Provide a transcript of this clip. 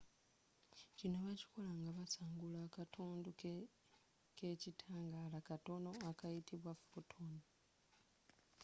kino bakikola nga basangula akatundu kekitangaala katono akayitibwa photon